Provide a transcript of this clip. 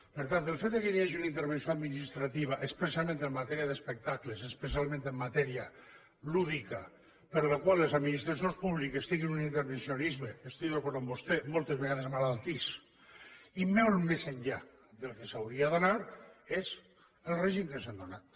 per tant el fet que hi hagi una intervenció administrativa expressament en matèria d’espectacles especialment en matèria lúdica per la qual les administracions públiques tinguin un intervencionisme i estic d’acord amb vostè moltes vegades malaltís i molt més enllà del que s’hauria d’anar és el règim que ens hem donat